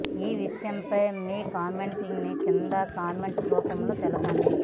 ఈ విషయంపై మీ కామెంట్స్ ని కింద కామెంట్స్ రూపంలో తెలపండి